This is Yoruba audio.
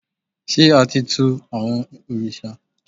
ṣe a ti tù awọn oriṣa?